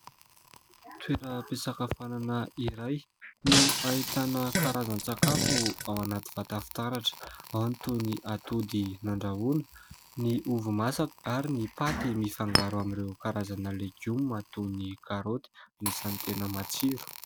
toerampesakafanana iray no hahitana karazan-tsakafo ao anaty vatafitaratra ao any toy ny atody nandrahoana ny ovo-masaka ary ny paty mifangaro amin'ireo karazana legiomato ny karoty ny santena matsiro